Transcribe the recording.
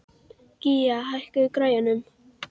Gía, hækkaðu í græjunum.